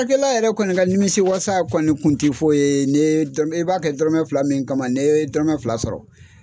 yɛrɛ kɔni ka nimisi wasa kɔni kun te foyi ye, ni i b'a kɛ dɔrɔmɛ fila min kama, ni ye dɔrɔmɛ fila sɔrɔ